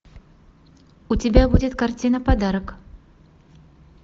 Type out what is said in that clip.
у тебя будет картина подарок